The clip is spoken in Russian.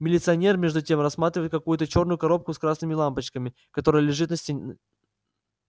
милиционер между тем рассматривает какую-то чёрную коробку с красными лампочками которая лежит на столе